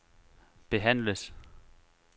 behandles